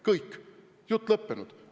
Kõik, jutt lõppenud!